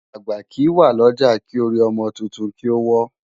Agbá ki wá Loja ki ôri òmò tútún ki ó wò